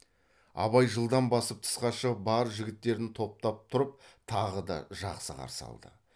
абай жылдам басып тысқа шығып бар жігіттерін топтан тұрып тағы да жақсы қарсы алды